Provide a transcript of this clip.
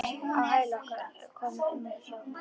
Á hæla okkar komu önnur hjón.